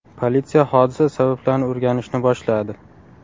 Politsiya hodisa sabablarini o‘rganishni boshladi.